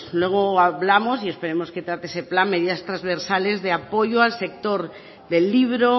luego hablamos y esperamos que trate ese plan medidas trasversales de apoyo al sector del libro